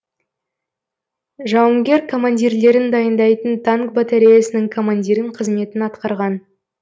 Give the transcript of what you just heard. жауынгер командирлерін дайындайтын танк батареясының командирін қызметін атқарған